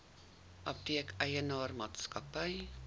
apteek eienaar maatskappy